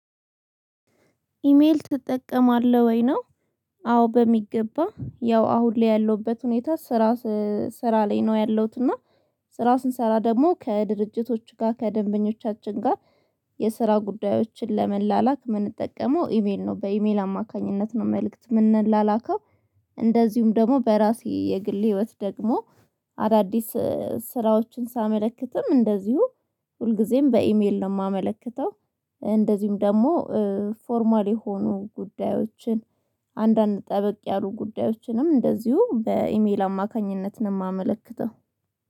ኢሜል ትጠቀማለህ ወይ ነው? አዎ በሚገባ ያው አሁን ላይ ያለሁበት ሁኔታ። ስራ ላይ ነው ያለሁት እና። ስራ ስንሰራ ደግሞ ከድርጅቶች ጋር ከደንበኞቻችን ጋር። የስራ ጉዳዮችን ለመላላክ ምንጠቀመው ኢሜል ነው በኢሜል አማካኝነት ነው መልእክት ምንላላከው። እንደዚሁም ደግሞ በራሴ የግል ህይወት ደግሞ። አዳዲስ ስራዎችን ሳመለክትም እንደዚሁ ሁልጊዜም በኢሜል ነው ማመለክተው። እንደዚሁም ደግሞ ፎርማል የሆኑ ጉዳዮችን። አንዳንድ ጠበቅ ያሉ ጉዳዮችንም እንደዚሁ በኢሜል አማካኝነት ነው ማመለክተው